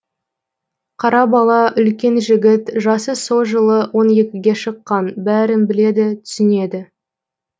қара бала үлкен жігіт жасы со жылы он екіге шыққан бәрін біледі түсінеді